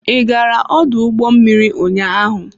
Ị gara ọdụ ụgbọ mmiri ụnyaahụ?